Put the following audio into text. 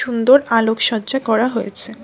সুন্দর আলোকসজ্জা করা হয়েছে।